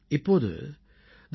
இப்போது thepositiveindia